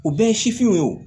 U bɛɛ ye sifinw ye wo